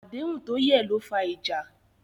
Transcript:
Àdéhùn tó yẹ̀ ló fa ìjà.